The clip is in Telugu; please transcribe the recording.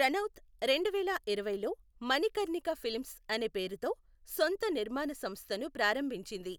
రనౌత్ రెండువేల ఇరవైలో మణికర్ణిక ఫిల్మ్స్ అనే పేరుతో సొంత నిర్మాణ సంస్థను ప్రారంభించింది,